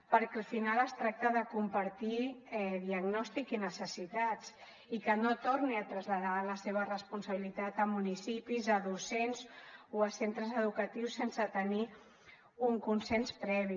perquè al final es tracta de compartir diagnòstic i necessitats i que no torni a traslladar la seva responsabilitat a municipis a docents o a centres educatius sense tenir un consens previ